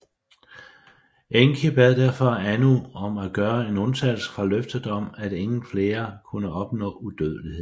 Enki bad derfor Anu om at gøre en undtagelse fra løftet om at ingen flere kunne opnå udødelighed